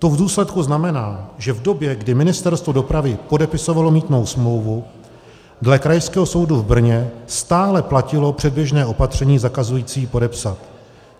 To v důsledku znamená, že v době, kdy Ministerstvo dopravy podepisovalo mýtnou smlouvu, dle Krajského soudu v Brně stále platilo předběžné opatření zakazující podepsat.